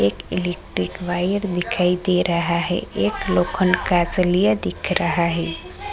एक electric wire दीखाई दे रहा है एक लोखंड का सलिया दिख रहा है।